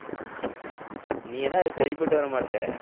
நீ எல்லாம் அதுக்கு சரிப்பட்டு வரமாட்ட